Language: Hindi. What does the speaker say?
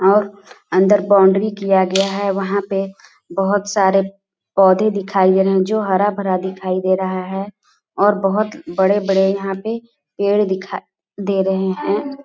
और अंदर बाउंड्री किया गया है वह पे बहोत सारे पौधे दिखाई गए है जो हरा-भरा दिखाए दे रहा है और बहोत बड़े-बड़े यहाँ पे पेड़ दिखा दे रहे है।